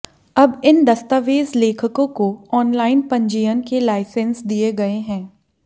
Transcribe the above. अब इन दस्तावेज लेखकों को ऑनलाइन पंजीयन के लायसेंस दिए गए हैं